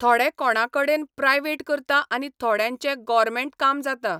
थोडे कोणा कडेन प्रायवेट करता आनी थोड्यांचें गोरमॅण्ट काम जाता.